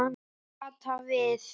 Kata við.